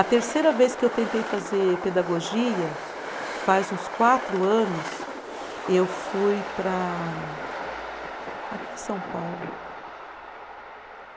A terceira vez que eu tentei fazer pedagogia, faz uns quatro anos, eu fui para. Aqui em São Paulo.